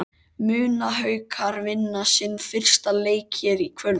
Munu Haukar vinna sinn fyrsta leik hér í kvöld?